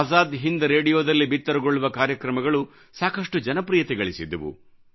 ಆಜಾದ್ ಹಿಂದ್ ರೇಡಿಯೋದಲ್ಲಿ ಬಿತ್ತರಗೊಳ್ಳುವ ಕಾರ್ಯಕ್ರಮಗಳು ಸಾಕಷ್ಟು ಜನಪ್ರಿಯತೆಗಳಿಸಿದ್ದವು